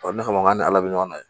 O ne kama n'an ala bɛ ɲɔgɔn na